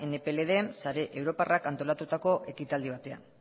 nplren sare europarrak antolatutako ekitaldi batean